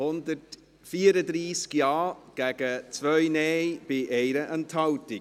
134 Ja- gegen 2 Nein-Stimmen bei 1 Enthaltung: